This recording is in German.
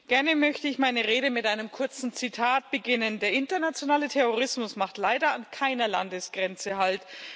Gerne möchte ich meine Rede mit einem kurzen Zitat beginnen Der internationale Terrorismus macht leider an keiner Landesgrenze halt.